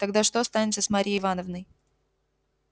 тогда что станется с марьей ивановной